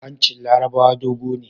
Hanshin larabawa dogo ne